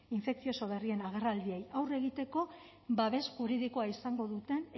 infekzioso berrien agerraldiei aurre egiteko babes juridikoa izango duten